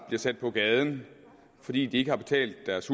sat på gaden fordi de ikke har betalt deres